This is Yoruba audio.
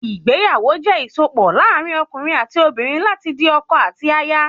Ìgbéyàwó jẹ ìsopọ̀ láàrin okùnrin ati obìnrin láti di ọkọ àti aya